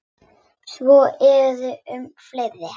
Svo er um fleiri.